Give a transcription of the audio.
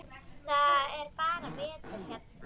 Það er bara vetur hérna.